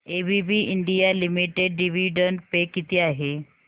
ABB India limited dividend pay किती आहे